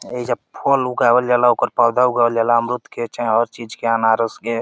एइजा फल उगावल जाला ओकर पवधा उगावल जाला अमरूद केचाहें हर चीज केअनारस के।